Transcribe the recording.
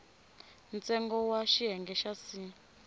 ntsengo wa xiyenge xa c